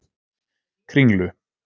Kringlu